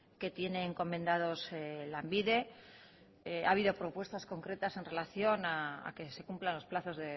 que tiene encomendados lanbide ha habido propuestas concretas en relación a que se cumplan los plazos